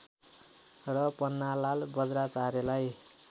र पन्नालाल वज्राचार्यलाई